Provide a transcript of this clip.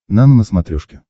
нано на смотрешке